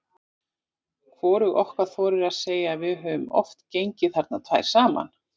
Hvorug okkar þorir að segja að við höfum oft gengið þarna tvær saman.